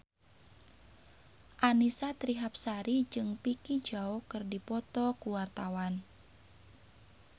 Annisa Trihapsari jeung Vicki Zao keur dipoto ku wartawan